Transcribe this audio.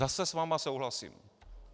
Zase s vámi souhlasím.